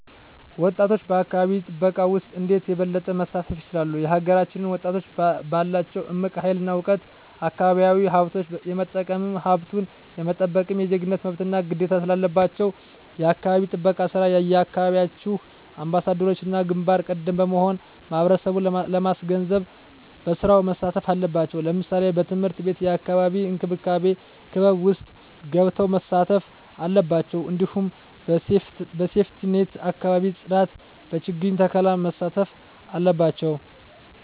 ወጣቶች በአካባቢ ጥበቃ ውስጥ እንዴት የበለጠ መሳተፍ ይችላሉ? የሀገራችንን ወጣቶች ባላቸው እምቅ ሀይል እና እውቀት አካባቢያዊ ሀብቶች የመጠቀምም ሀብቱን የመጠበቅም የዜግነት መብትና ግዴታም ስላለባችሁ የአካባቢ ጥበቃ ስራ የየአካባቢያችሁ አምባሳደሮችና ግንባር ቀደሞች በመሆን ማህበረሰቡን ማስገንዘብ በስራው መሳተፍ አለባቸው ለምሳሌ በትምህርት ቤት የአካባቢ እንክብካቤ ክበብ ውስጥ ገብተው መሳተፍ አለባቸው እንዲሁም በሴፍትኔት የአካባቢ ፅዳት በችግኝ ተከላ መሳተፍ አለባቸው